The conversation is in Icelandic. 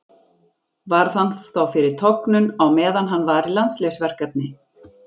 Varð hann þá fyrir tognun á meðan hann var í landsliðsverkefni.